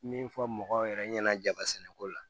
Min fɔ mɔgɔw yɛrɛ ɲɛna jaba sɛnɛko la